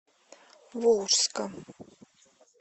волжска